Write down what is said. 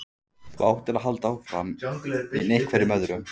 Þú áttir að halda áfram, í einhverjum öðrum.